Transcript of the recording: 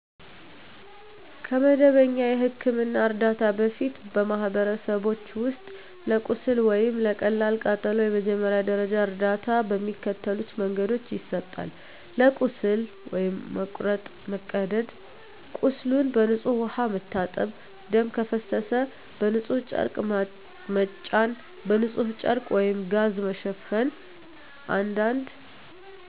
ከመደበኛ የሕክምና እርዳታ በፊት፣ በማኅበረሰቦች ውስጥ ለቁስል ወይም ለቀላል ቃጠሎ የመጀመሪያ ደረጃ እርዳታ በሚከተሉት መንገዶች ይሰጣል፦ ለቁስል (መቁረጥ፣ መቀደድ) ቁስሉን በንጹሕ ውሃ መታጠብ ደም ከፈሰሰ በንጹሕ ጨርቅ መጫን በንጹሕ ጨርቅ/ጋዝ መሸፈን አንዳንድ